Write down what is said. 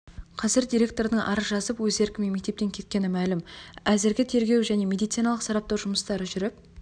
қазір директордың арыз жазып өз еркімен мектептен кеткені мәлім әзірге тергеу және медициналық сараптау жұмыстары жүріп